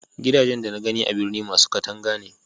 gidajen da na gani a birni masu katanga ne